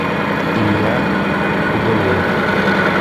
илья худолеев